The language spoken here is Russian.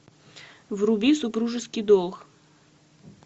вруби супружеский долг